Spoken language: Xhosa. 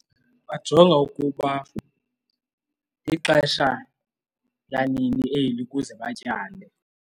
Bajonga ukuba lixesha lanini eli ukuze batyale.